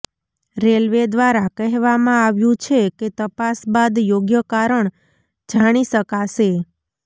railway દ્વારા કહેવામાં આવ્યુ છે કે તપાસ બાદ યોગ્ય કારણ જાણી શકાશે